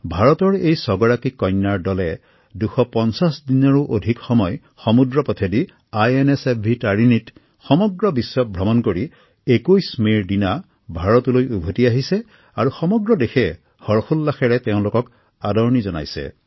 ভাৰতৰ এই ৬ সাহসী কন্যাৰ দলে ২৫০ দিনৰো অধিক সময় সমুদ্ৰত আইএনএছভি তাৰিণী জাহাজেৰে বিশ্ব প্ৰদক্ষিণ কৰি যোৱা ২১ মেত গৃহভূমিলৈ উভতি আহিছে আৰু সমদ্ৰ দেশে হৰ্ষোল্লাসেৰে তেওঁলোকক আদৰণি জনায়